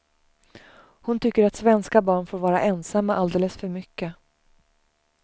Hon tycker att svenska barn får vara ensamma alldeles för mycket.